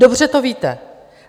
Dobře to víte.